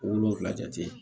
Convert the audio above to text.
Wolonfila jate